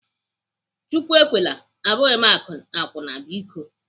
Chukwu ekwela! Abụghị m akwụna biko.